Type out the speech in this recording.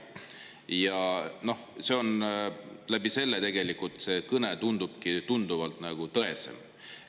Ja selle tõttu tegelikult see kõne tundubki tõesem.